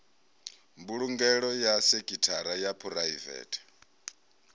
mbulungelo ya sekhithara ya phuraivethe